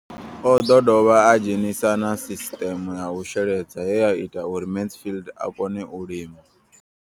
O ḓo dovha a dzhenisa na sisiṱeme ya u sheledza ye ya ita uri Mansfied a kone u lima.